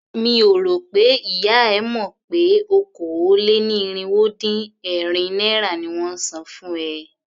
Mi ò rò pé ìyá e mọ̀ pé okòó-lé-ní-irínwó-dín-ẹ̀rin naira ni wón ń san fún ẹ.